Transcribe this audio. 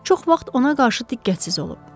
Çox vaxt ona qarşı diqqətsiz olub.